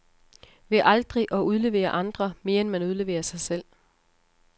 Ved aldrig at udlevere andre, mere end man udleverer sig selv.